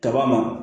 Kaba ma